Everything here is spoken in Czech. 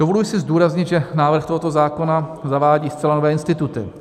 Dovoluji si zdůraznit, že návrh tohoto zákona zavádí zcela nové instituty.